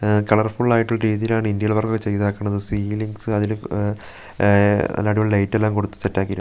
ആഹ് colourful ആയിട്ടൊള്ള രീതീലാണ് interior work ഒക്കെ ചെയ്തേക്കണത് സീലിംഗ്സ് അതില് മ് എഹ് നല്ല അടിപൊളി ലൈറ്റ് എല്ലാം കൊടുത്ത് സെറ്റാക്കീറ്റ് --